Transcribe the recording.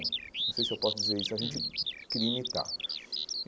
Não sei se eu posso dizer isso, a gente queria imitar.